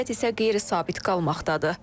Vəziyyət isə qeyri-sabit qalmaqdadır.